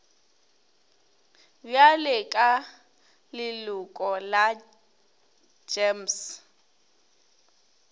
bjale ka leloko la gems